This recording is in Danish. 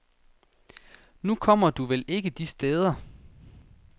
Nu kommer du vel ikke de steder.